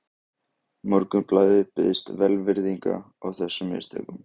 Morgunblaðið biðst velvirðingar á þessum mistökum